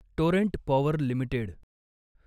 Torrent Power limited